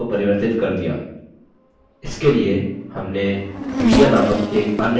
इसके लिए हमने media नामक एक अन्य table जोड़ा